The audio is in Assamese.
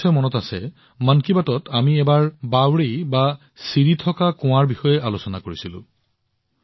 আপোনালোকৰ মনত আছে বোধহয় মন কী বাতত আমি এবাৰ খটখটি কুঁৱাৰ বিষয়ে আলোচনা কৰিছিলো